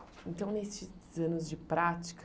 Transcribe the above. Então, nesses anos de prática,